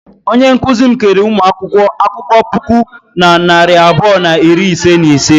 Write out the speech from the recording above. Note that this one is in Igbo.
Onye nkụzi m keere ụmụ akwụkwọ akwụkwọ puku na narị abụọ na iri ise na ise.